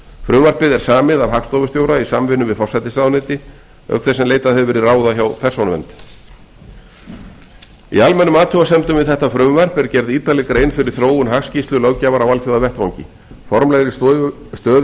frumvarpið er samið af hagstofustjóra í samvinnu við forsætisráðuneyti auk þess sem leitað hefur verið ráða hjá persónuvernd í almennum athugasemdum við þetta frumvarp er gerð ítarleg grein fyrir þróun hagskýrslulöggjafar á alþjóðavettvangi formlegri stöðu